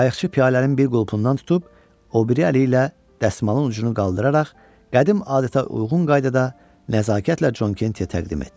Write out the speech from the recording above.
Qayıqçı piyalənin bir qulpundan tutub, o biri əli ilə dəsmalın ucunu qaldıraraq, qədim adətə uyğun qaydada nəzakətlə Con Kenti təqdim etdi.